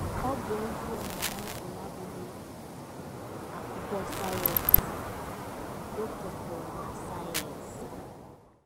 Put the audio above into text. Ọ bụ ezie na Bible abụghị akwụkwọ sayensị, o kwekọrọ na sayensị.